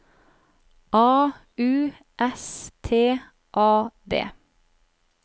A U S T A D